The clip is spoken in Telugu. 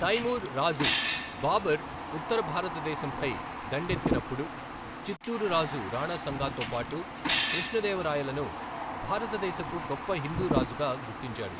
తైమూర్ రాజు బాబర్ ఉత్తర భారతదేశంపై దండెత్తినప్పుడు, చిత్తూరు రాజు రాణా సంగాతో పాటు కృష్ణదేవరాయలను భారతదేశపు గొప్ప హిందూ రాజుగా గుర్తించాడు.